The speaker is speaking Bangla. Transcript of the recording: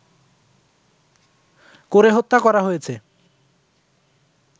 করে হত্যা করা হয়েছে